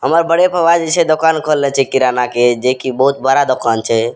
हमर बड़े फूफा जी जे छै दोकान खोलने छै किराना के जे की बहुत बड़ा दुकान छै।